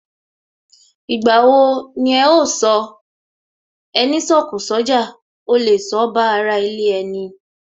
Ìgbà wo ni ẹ ó sọ " Ẹni sọ̀kọ̀ sójà, ó lè sọ ba ara ilé ẹni?